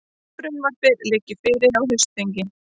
Frumvarpið liggi fyrir á haustþingi